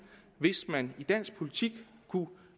hvis man i dansk politik kunne